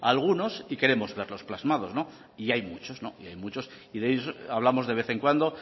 a algunos y queremos verlos plasmados y hay muchos hay muchos hablamos de vez en cuando